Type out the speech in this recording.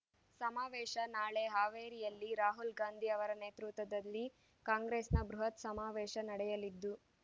ಸಮಾವೇಶ ನಾಳೆ ಹಾವೇರಿಯಲ್ಲಿ ರಾಹುಲ್ ಗಾಂಧಿ ಅವರ ನೇತೃತ್ವದಲ್ಲಿ ಕಾಂಗ್ರೆಸ್‌ನ ಬೃಹತ್ ಸಮಾವೇಶ ನಡೆಯಲಿದ್ದು